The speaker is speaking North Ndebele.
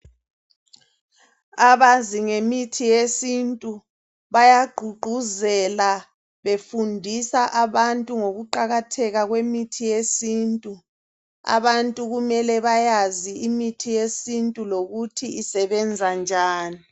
Abazi ngemithi yesintu bayagqugquzela befundisa abantu ngokuqakatheka kwemithi yesintu, abantu kumele bayazi imithi yesintu lokuthi isebenza njani.